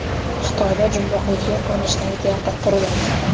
Xitoyda jumboqli shar ko‘rinishidagi teatr quriladi .